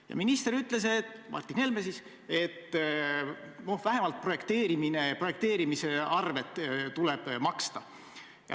Ja minister Martin Helme ütles, et vähemalt projekteerimise arved tuleb maksta.